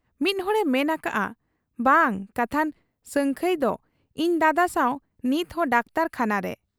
ᱢᱤᱫ ᱦᱚᱲᱮ ᱢᱮᱱ ᱟᱠᱟᱜ ᱟ ᱵᱟᱝ ᱠᱟᱛᱷᱟᱱ ᱥᱟᱹᱝᱠᱷᱟᱹᱭᱫᱚ ᱤᱧ ᱫᱟᱫᱟ ᱥᱟᱶ ᱱᱤᱛᱦᱚᱸ ᱰᱟᱠᱛᱚᱨ ᱠᱷᱟᱱᱟᱨᱮ ᱾